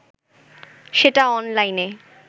সেটা অনলাইনে